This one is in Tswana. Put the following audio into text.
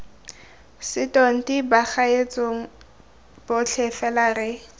setonti bagaetshong botlhe fela re